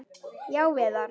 Já, Viðar.